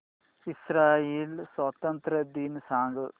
Israel स्वातंत्र्य दिन सांग